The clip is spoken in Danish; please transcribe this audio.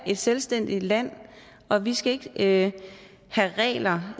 et selvstændigt land og vi skal ikke have regler